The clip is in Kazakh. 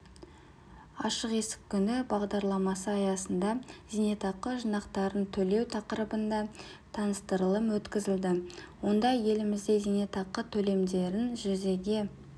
ашық есік күні бағдарламасы аясында зейнетақы жинақтарын төлеу тақырыбында таныстырылым өткізілді онда елімізде зейнетақы төлемдерін жүзеге